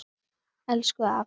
Og elsku afi.